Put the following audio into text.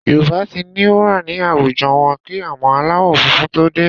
Yorùbá ti ní wúrà ní àwùjọ wọn kí àwọn aláwọ̀ funfun tó dé